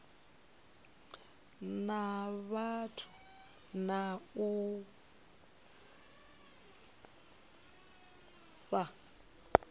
na vhathu na u fha